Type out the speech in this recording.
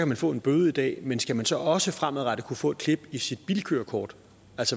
man få en bøde i dag men skal man så også fremadrettet kunne få et klip i sit bilkørekort